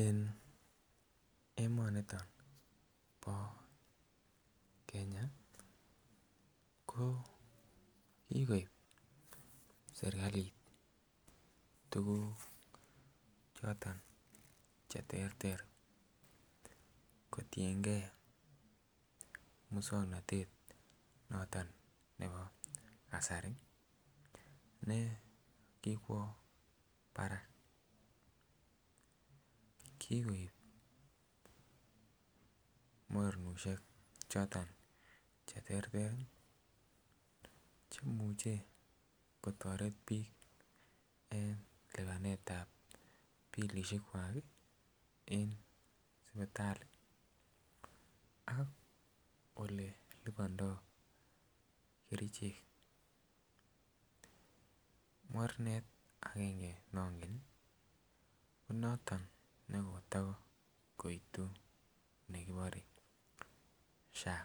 En emoniton bo Kenya ko kigoib serkalit tuguk choton che terter kotiengee muswognotet noton nebo kasari ne kikwo barak. Kigoib mornoshek choton che terter ii chemuche kotoret biik en lipanetab bilishek kwak en sipitali ak ole lipondo kerichek. Mornet angenge nongen ii ko noton ne koto goitu nekibore SHA